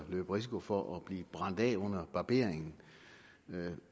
løbe risikoen for at blive brændt af under barberingen